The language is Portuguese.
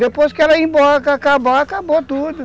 Depois que ela ir embora, acabar, acabou tudo.